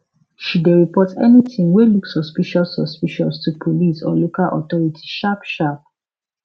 she dey report anything wey look suspicious suspicious to police or local authority sharp sharp